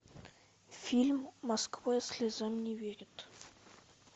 фильм москва слезам не верит